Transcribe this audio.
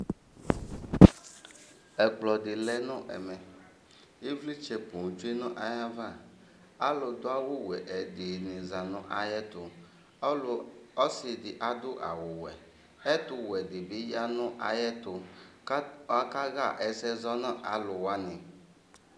Ɛkplɔ di lɛ nu ɛmɛ Ivlitsɛ poo tsue nu ayava Alu du awu wɛ ɛdini za nu ayɛtu Ɔlu ɔsi di adu awu ɔwɛ Ɛtuwɛ di bi ya nu ayɛtu Akaɣa ɛsɛ zɔ nu aluwani